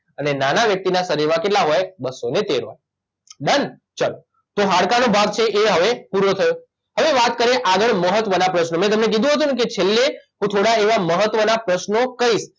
અને નાના વ્યક્તિના શરીરમાં કેટલા હોય બસ્સો ને તેર હોય ડન ચલો તો હાડકાં નો ભાગ છે એ હવે પૂરો થયો હવે વાત કરીએ આગળ મહત્વનાં પ્રશ્નો મેં તમને કીધું હતું ને કે છેલ્લે હું થોડાંં એવાં મહત્વનાં પ્રશ્નો કહીશ